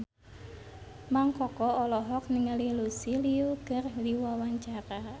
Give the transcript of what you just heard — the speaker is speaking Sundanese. Mang Koko olohok ningali Lucy Liu keur diwawancara